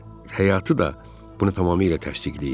Həyatı da bunu tamamilə təsdiqləyir.